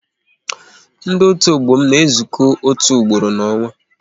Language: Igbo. Ndị otu ọgbọ m na-ezuko otu ugboro n'onwa